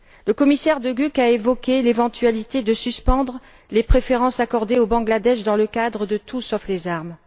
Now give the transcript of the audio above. Le commissaire De Gucht a évoqué l'éventualité de suspendre les préférences accordées au Bangladesh dans le cadre de l'initiative Tout sauf les armes.